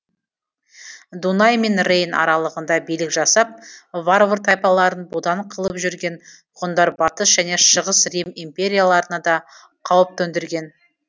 дунай мен рейн аралығында билік жасап варвар тайпаларын бодан қылып жүрген ғұндар батыс және шығыс рим империяларына да қауіп төндірген